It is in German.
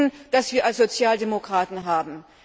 Das ist das Anliegen, das wir als Sozialdemokraten haben.